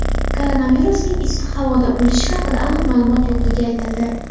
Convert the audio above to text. Koronavirusning issiq havoda o‘lishi haqida aniq ma’lumot yo‘qligi aytildi.